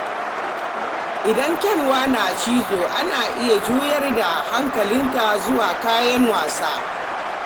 Idan kyanwa na cizo, ana iya juyar da hankalinta zuwa kayan wasa.